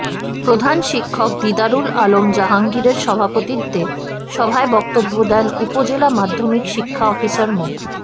প্রধান শিক্ষক দিদারুল আলম জাহাঙ্গীরের সভাপতিত্বে সভায় বক্তব্য দেন উপজেলা মাধ্যমিক শিক্ষা অফিসার মো